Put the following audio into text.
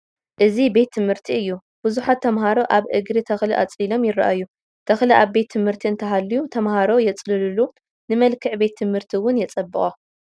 እዚ ቤት ትምህርቲ እዩ፡፡ ብዙሓት ተመሃሮ ኣብ እግሪ ተኽሊ ኣፅሊሎም ይርአዩ፡፡ ተኽሊ ኣብ ቤት ትምህርቲ እንተሃልዩ ተመሃሮ የፅልሉሉ ንመልክዕ ቤት ትምህርቲ እውን የፀብቖ፡፡